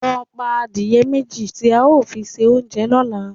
Lọ pa adìẹ méjì tí a ó fi ṣe oúnjẹ lọ́la!